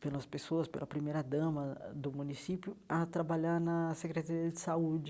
pelas pessoas, pela primeira dama ãh do município, a trabalhar na Secretaria de Saúde.